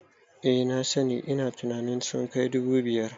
Eh na sani, ina tunanin sun kai dubu biyu